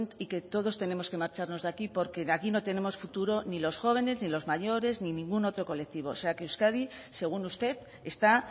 y que todos tenemos que marcharnos de aquí porque aquí no tenemos futuro ni los jóvenes ni los mayores ni ningún otro colectivo o sea que euskadi según usted está